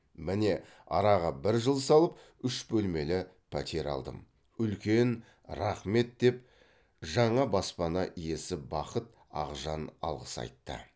міне араға бір жыл салып үш бөлмелі пәтер алдым үлкен рахмет деп жана баспана иесі бақыт ақжан алғыс айтты